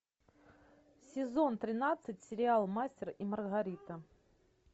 сезон тринадцать сериал мастер и маргарита